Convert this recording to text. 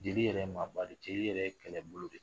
Jeli yɛrɛ maaba de ye jeli yɛrɛ ye kɛlɛbolo de ye